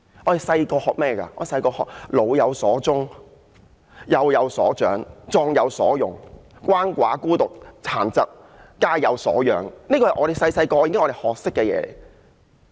小時候，我們學習"老有所終，壯有所用，幼有所長"、"鰥寡孤獨，廢疾者，皆有所養"，這是我們小時候已經學習的。